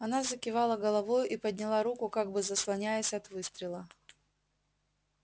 она закивала головою и подняла руку как бы заслоняясь от выстрела